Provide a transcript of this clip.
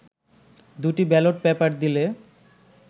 দুটি ballot paper দিলে